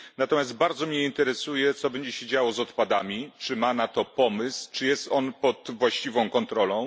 Natomiast bardzo mnie interesuje, co będzie się działo z odpadami, czy ma na to pomysł, czy jest on pod właściwą kontrolą.